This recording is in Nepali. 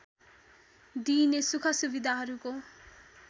दिइने सुख सुविधाहरूको